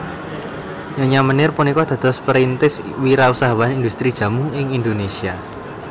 Nyonya Meneer punika dados perintis wirausahawan indhustri jamu ing Indonesia